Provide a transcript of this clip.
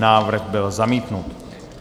Návrh byl zamítnut.